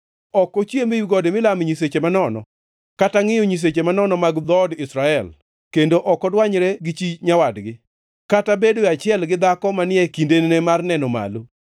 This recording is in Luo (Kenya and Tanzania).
Ok ochiem ewi gode milame nyiseche manono kata ngʼiyo nyiseche manono mag dhood Israel. Kendo ok odwanyre gi chi nyawadgi kata bedo e achiel gi dhako manie kindene mar neno malo.